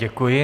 Děkuji.